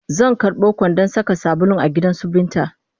Zan karɓo kwandon saka sabulu a gidansu Binta